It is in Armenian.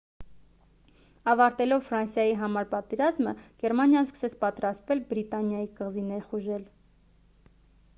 ավարտելով ֆրանսիայի համար պատերազմը գերմանիան սկսեց պատրաստվել բրիտանիայի կղզի ներխուժել